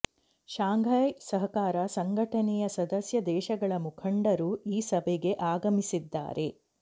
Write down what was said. Shanghai ಸಹಕಾರ ಸಂಘಟನೆಯ ಸದಸ್ಯ ದೇಶಗಳ ಮುಖಂಡರು ಈ ಸಭೆಗೆ ಆಗಮಿಸಿದ್ದಾರೆ